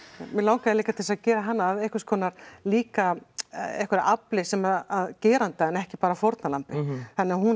mig langaði líka til þess að gera hana að einhverskonar líka einhverju afli sem geranda en ekki bara að fórnarlambi þannig að hún